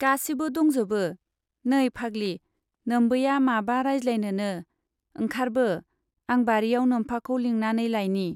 गासिबो दंजोबो, नै फाग्लि, नोम्बैया माबा राजज्लायनोनो, ओंखारबो, आं बारियाव नोम्फाखौ लिंनानै लाइनि।